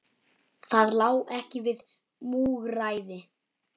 Það lá ekki við múgræði